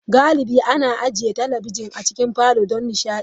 Galibi ana ajiye talabijin a cikin falon don nishaɗi.